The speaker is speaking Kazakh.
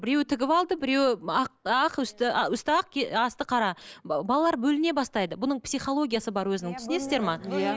біреуі тігіп алды біреуі ақ ақ үсті үсті ақ асты қара балалар бөліне бастайды бұның психологиясы бар өзінің түсінесіздер ме